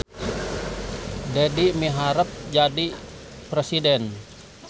Dedi miharep jadi presiden